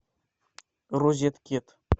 розеткед